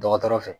Dɔgɔtɔrɔ fɛ